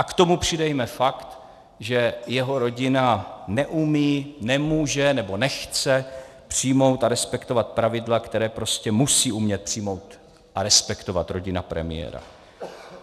A k tomu přidejme fakt, že jeho rodina neumí, nemůže nebo nechce přijmout a respektovat pravidla, která prostě musí umět přijmout a respektovat rodina premiéra.